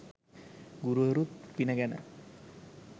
ගුරුවරුත් පින ගැන